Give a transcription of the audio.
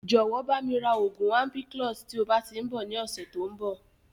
Jọ̀wọ́ bami ra oògùn ampiclox" tí ó bá tíì ń bọ̀ ni ọ̀sẹ̀ tòun bọ̀